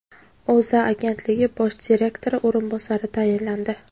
O‘zA agentligi bosh direktori o‘rinbosari tayinlandi.